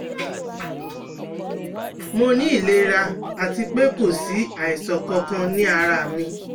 Mo ní ìlera àti pé kò sí àìsàn kankan ní ara mi